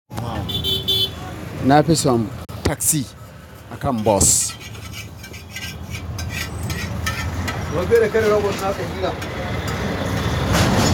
Na fi son taxi akan bus.